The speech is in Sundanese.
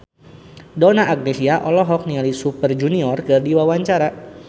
Donna Agnesia olohok ningali Super Junior keur diwawancara